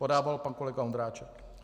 Podával pan kolega Ondráček.